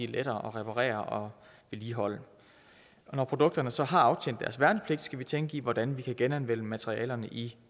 lettere at reparere og vedligeholde når produkterne så har aftjent deres værnepligt skal vi tænke i hvordan vi kan genanvende materialerne i